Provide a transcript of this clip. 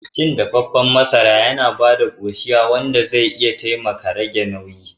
Cin ɗafefen masara yana ba da koshiya wanda zai iya taimaka rage nauyi.